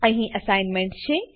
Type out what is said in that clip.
અહી અસાઇનમેન્ટ છે